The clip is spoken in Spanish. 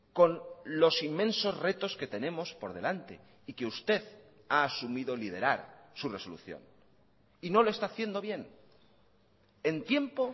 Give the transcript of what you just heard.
con los inmensos retos que tenemos por delante y que usted ha asumido liderar su resolución y no lo está haciendo bien en tiempo